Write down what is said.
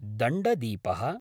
दण्डदीपः